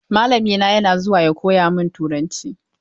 Mallamina yana zuwa ya koya min turanci.